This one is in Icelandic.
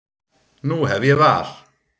Nú hef ég val.